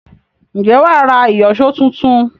Ǹjẹ́ wà á ra ìyọ̀ṣó tuntun?